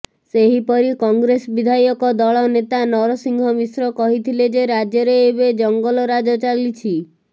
ସେହିପରି କଂଗ୍ରେସ ବିଧାୟକ ଦଳ ନେତା ନରସିଂହ ମିଶ୍ର କହିଥିଲେ ଯେ ରାଜ୍ୟରେ ଏବେ ଜଙ୍ଗଲରାଜ ଚାଲିଛି